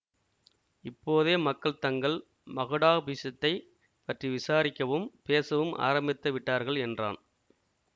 இப்போதே மக்கள் தங்கள் மகுடாபிஷத்தைப் பற்றி விசாரிக்கவும் பேசவும் ஆரம்பித்து விட்டார்கள் என்றான்